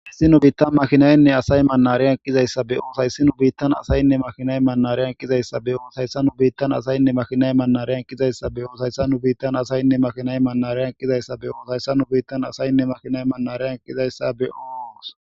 hayssi nu biittan makhinaynne asay manareyan kizayssa beyoos hayssi nu biittan asayinne makhinay manareyan kizayssa be oos hayssa nu biittan asayinne makhinay mannareyan kizayssa beyoos hayssa nu biittan asayinne makhinay manareyan kizayssa beyoos hayssa nu biittan asayinne makhinay manareyan kizayssa be7oos